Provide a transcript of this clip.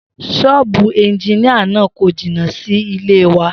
S̩ó̩ò̩bù e̩njiníà náà kò jìnnà sí ilé wa